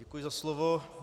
Děkuji za slovo.